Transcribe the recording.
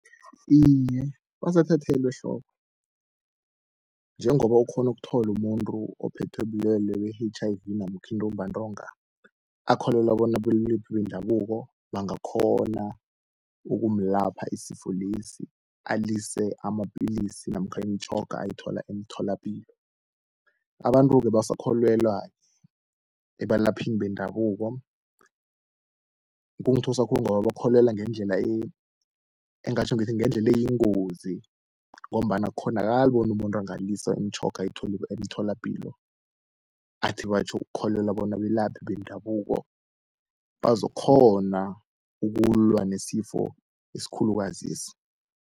Iye, basathathelwa ehloko njengoba ukghona ukuthola umuntu ophethwe bulwelwe be-H_I_V namkha intumbantonga, akholelwa bona abelephi bendabuko bangakghona ukumulapha isifo lesi, alise amapilisi namkha imtjhoga ayithola emtholapilo. Abantu-ke basakholelwa ebalaphini bendabuko, kungithusa khulu ngoba bakholelwa ngendlela engingatjho ngithi ngendlela eyingozi, ngombana akukghonakali bona umuntu angalisa imtjhoga ayithola emtholapilo, athi batjho ukholelwa bona abelaphi bendabuko bazokukghona ukulwa nesifo esikhulukazi lesi.